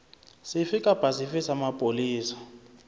sefe kapa sefe sa mapolesa